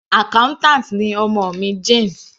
Accountant ni ọmọ mi, Jane.